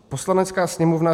"Poslanecká sněmovna